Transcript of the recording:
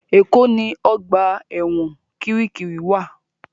Èkó ni ọgbà ẹ̀wọ̀n Kirikiri wa